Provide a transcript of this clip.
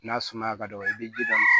N'a suma ka dɔgɔ i bi ji d'a ma